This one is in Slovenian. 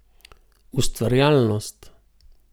Ustvarjalnost.